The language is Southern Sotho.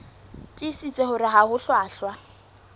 tiisitse hore ha ho hlwahlwa